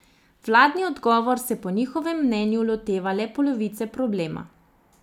Vladni odgovor se po njihovem mnenju loteva le polovice problema.